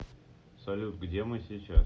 салют где мы сейчас